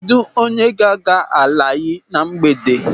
Kedụ onye ga-aga Alayi na mgbede?